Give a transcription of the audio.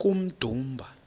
kummdumba